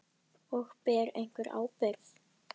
Og: Ber einhver ábyrgð?